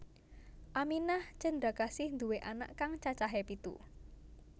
Aminah Cendrakasih nduwé anak kang cacahé pitu